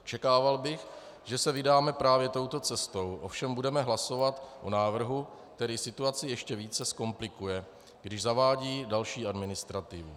Očekával bych, že se vydáme právě touto cestou, ovšem budeme hlasovat o návrhu, který situaci ještě více zkomplikuje, když zavádí další administrativu.